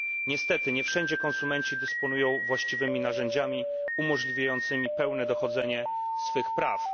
Niestety nie wszędzie konsumenci dysponują właściwymi narzędziami umożliwiającymi pełne dochodzenie swych praw.